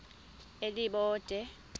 elibode